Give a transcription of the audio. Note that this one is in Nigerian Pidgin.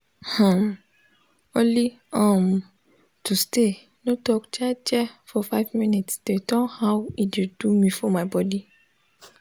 hnnm- only um to stay nor talk jejely for 5mins de turn how e de do me for my bodi